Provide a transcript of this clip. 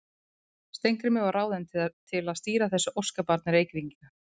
Steingrímur var ráðinn til að stýra þessu óskabarni Reykvíkinga.